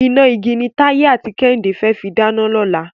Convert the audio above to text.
Iná igi ni Táyé àti Kẹ́hìndé fẹ́ fi dáná lọ́la.